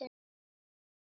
Ykkar Ósk.